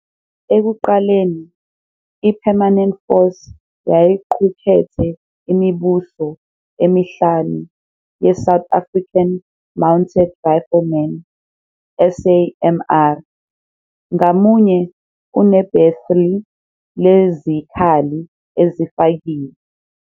Ekuqaleni, i-Permanent Force yayiqukethe imibuso emihlanu yeSouth African Mounted Riflemen, SAMR, ngamunye unebhethri lezikhali ezifakiwe.